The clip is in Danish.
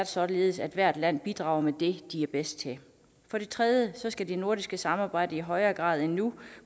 således at hvert land bidrager med det de er bedst til for det tredje skal det nordiske samarbejde i højere grad end nu